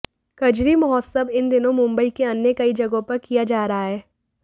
कजरी महोत्सव इन दिनों मुंबई के अन्य कई जगहों पर किया जा रहा है